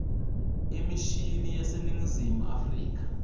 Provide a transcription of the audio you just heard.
emishini yaseningizimu afrika